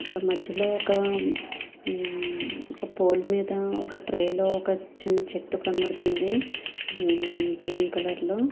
ఇక్కడ మద్యలో ఒక పోల్ మేధా ఒక ట్రే లో ఒక చిన్న చేట్టు కనిపిస్తుంది గ్రీన్ కలర్ లో --